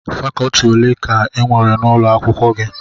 Fakọtị ole ka enwere n'ụlọ akwụkwọ gị?